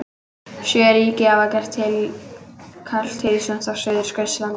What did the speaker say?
Sjö ríki hafa gert tilkall til lands á Suðurskautslandinu.